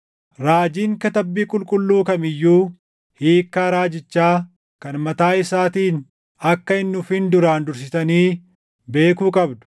Raajiin Katabbii Qulqulluu kam iyyuu hiikkaa raajichaa kan mataa isaatiin akka hin dhufin duraan dursitanii beekuu qabdu.